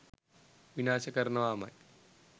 විනාශ කරනවාමයි.